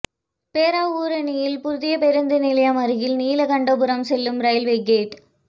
பேராவூரணியில் புதிய பேருந்து நிலையம் அருகில் நீலகண்டபுரம் செல்லும் ரயில்வே கேட்